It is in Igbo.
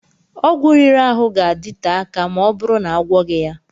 Ọgwụ riri ahụ ga-adịte akà ma ọbụrụ na-agwoghi ya.